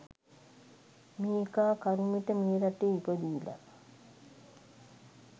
මේකා කරුමෙට මේ රටේ ඉපදිලා